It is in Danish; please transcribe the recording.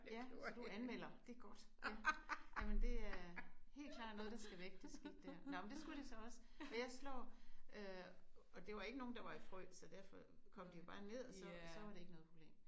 Ja så du anmelder. Det godt. Ja jamen det er helt klart noget der skal væk det skidt der. Nåh men det skulle det så også og jeg slår øh og det var ikke nogen der var i frø så derfor kom de jo bare ned og så var det ikke noget problem